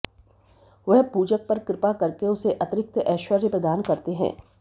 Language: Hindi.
वह पूजक पर कृपा करके उसे अतिरिक्त ऐश्वर्य प्रदान करते हैं